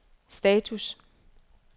status